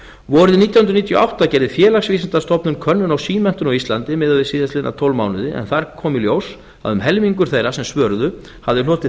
vorið nítján hundruð níutíu og átta gerði félagsvísindastofnun könnun á símenntun á íslandi miðað við síðastliðin tólf mánuði en þar kom í ljós að um helmingur þeirra sem svöruðu hafði hlotið